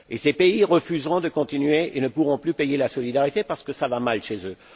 Ces pays refuseront de continuer et ne pourront plus payer la solidarité parce que cela va mal chez eux.